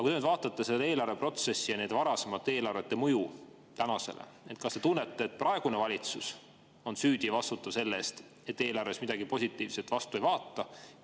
Kui te vaatate selle eelarve protsessi ja varasemate eelarvete mõju tänasele, kas te tunnete, et praegune valitsus on süüdi ja vastutav selle eest, et eelarvest midagi positiivset vastu ei vaata?